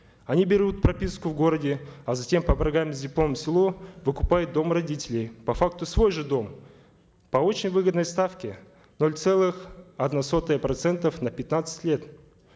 они берут прописку в городе а затем по программе с дипломом в село выкупают дом родителей по факту свой же дом по очень выгодной ставке ноль целых одна сотая процентов на пятнадцать лет